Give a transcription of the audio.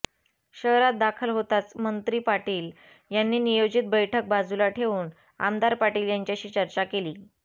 शहरात दाखल होताच मंत्री पाटील यांनी नियोजित बैठक बाजूला ठेवून आमदार पाटील यांच्याशी चर्चा केली